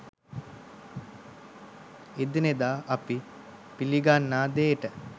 එදිනෙදා අපි පිළිගන්නා දේට